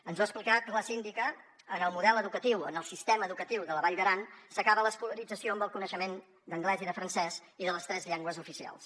ens ho ha explicat la síndica en el model educatiu en el sistema educatiu de la vall d’aran s’acaba l’escolarització amb el coneixement d’anglès i de francès i de les tres llengües oficials